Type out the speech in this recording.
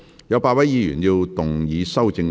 有8位議員要動議修正案。